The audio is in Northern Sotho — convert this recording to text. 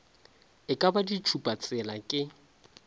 e ka ba ditšhupatsela ke